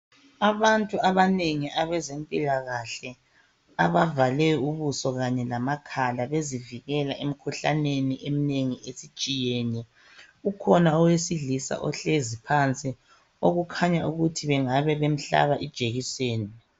Abantu abanengi abezempilakahle abavale ubuso kanye lamakhala bezivikela emkhuhlaneni eminengi esitshiyene. Ukhona owesilisa ohlezi phansi okukhanya ukuthi bengabe bemhlaba ijekiseni.